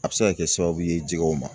A bɛ se ka kɛ sababu ye jɛgɛw ma.